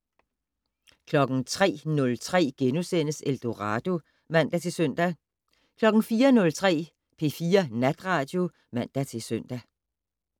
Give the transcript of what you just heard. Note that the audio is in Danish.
03:03: Eldorado *(man-søn) 04:03: P4 Natradio (man-søn)